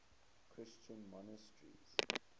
christian monasteries